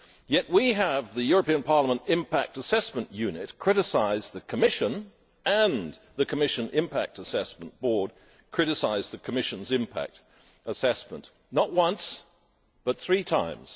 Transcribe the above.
Yet we have the European Parliament Impact Assessment Unit criticising the Commission, and the Commission Impact Assessment Board criticising the Commission's impact assessment, not once but three times.